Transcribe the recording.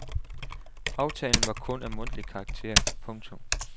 Aftalen var kun af mundtlig karakter. punktum